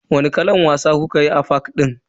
Wani kalan wasa kukayi a fak din?